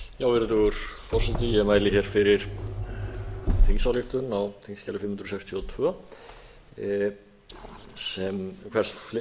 virðulegur forseti ég mæli hér fyrir þingsályktun á þingskjali fimm hundruð sextíu og tvö hvers